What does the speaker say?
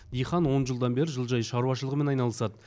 диқан он жылдан бері жылыжай шаруашылығымен айналысады